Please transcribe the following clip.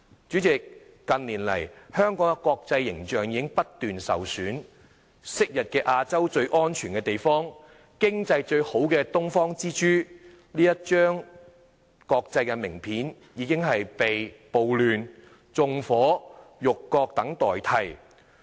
主席，近年來香港的國際形象已經不斷受損，昔日亞洲最安全的地方、經濟最好的東方之珠，這一張國際名片已經被暴亂、縱火、辱國等所代替。